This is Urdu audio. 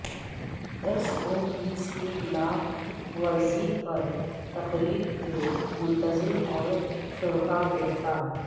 ایس او پیز کی خلاف ورزی پر تقریب کے منتظم اور شرکا گرفتار